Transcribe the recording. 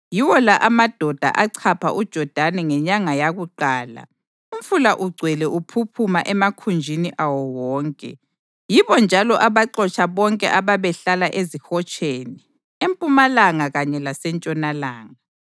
Yiwo la amadoda achapha uJodani ngenyanga yakuqala umfula ugcwele uphuphuma emakhunjini awo wonke, yibo njalo abaxotsha bonke ababehlala ezihotsheni, empumalanga kanye lasentshonalanga.